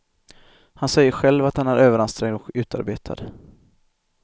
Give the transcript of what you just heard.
Han säger själv att han är överansträngd och utarbetad.